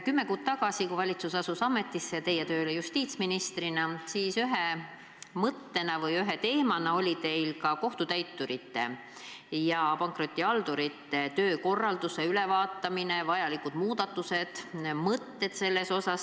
Kümme kuud tagasi, kui valitsus astus ametisse ja teist sai justiitsminister, oli teil ühe mõttena või ühe teemana päevakorral kohtutäiturite ja pankrotihaldurite töökorralduse ülevaatamine, vajalikud muudatused selles.